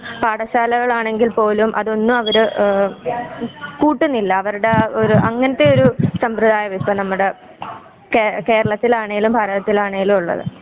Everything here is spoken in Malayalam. പാഠശാലകളാണെങ്കിൽ പോലും അതൊന്നും അവര് ഏഹ് കൂട്ടുനില്ല അവരുടെ അങ്ങനത്തെ ഒരു സമ്പ്രദായം ആണ് ഇപ്പ നമ്മുടെ കേര കേരളത്തിലാണെങ്കിലും ഭാരതത്തിലാണെങ്കിലും ഉള്ളത്.